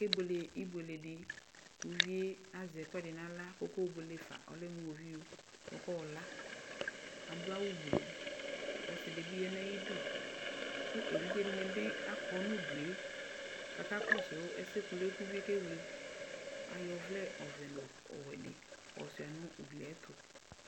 Akebuele ibuele di kʋ uvie azɛ ɛkʋɛdi n'aɣla kʋ ɔkayɔ buele fa Ɔlɛ mʋ iwɔviu, ɔkayɔ la Adʋ awʋ gbluu kʋ ɔsi di bi ya nʋ ayidu kʋ evidze di ni bi akɔ nʋ udu e, kakakɔsʋ ɛsɛ kʋlʋ kʋ uvie kewle Ayɔ ɔvlɛ ɔvɛ nʋ ɔwɛ di yɔsua nʋ ugli yɛ tʋ